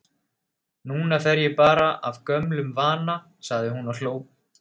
Núna fer ég bara af gömlum vana, sagði hún og hló.